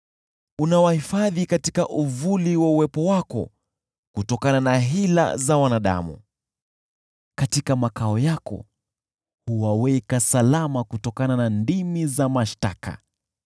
Unawahifadhi katika uvuli wa uwepo wako kutokana na hila za wanadamu; katika makao yako huwaweka salama kutokana na ndimi za mashtaka.